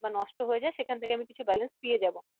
বা নষ্ট হয়ে যাই সেখান থেকে আমি কিছু balance পেয়ে যাবো